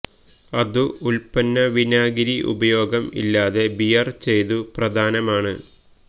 അതു ഉൽപ്പന്ന വിനാഗിരി ഉപയോഗം ഇല്ലാതെ ബിയര് ചെയ്തു പ്രധാനമാണ്